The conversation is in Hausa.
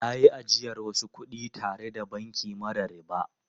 Na yi ajiyar wasu kudi tare da banki mara riba.